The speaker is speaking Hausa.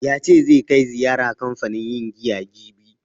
Ya ce zai kai ziyara kanfanin yin giya jibi.